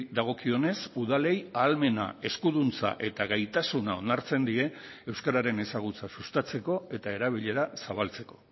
dagokionez udalei ahalmena eskuduntza eta gaitasuna onartzen die euskararen ezagutza sustatzeko eta erabilera zabaltzeko